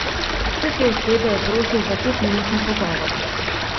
Vse te osebe je prosil za petminutni pogovor.